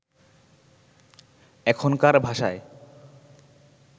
এখনকার ভাষায়